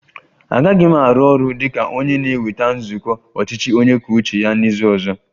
Agaghị m arụ ọrụ dị ka onye na-eweta nzukọ ọchịchị onye kwuo uche ya n'izu ọzọ